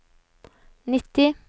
nitti